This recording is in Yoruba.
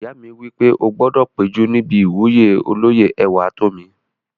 Ìyá mi wí pé "o gbọdọ̀ péjú níbi ìwúyè olóyè Ẹwàtómi!"